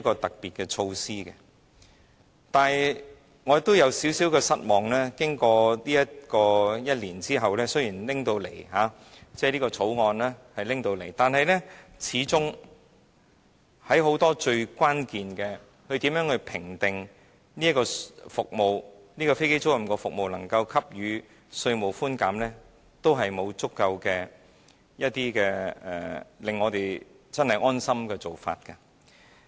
但是，我頗感失望，經歷1年時間後，雖然《條例草案》提交了立法會，但始終在很多關鍵事情上，例如如何評定某飛機租賃服務提供者能否獲得稅務寬減，並沒有足夠的、令大家感到安心的做法。